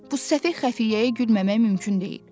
Bu səfeh xəfiyyəyə gülməmək mümkün deyil.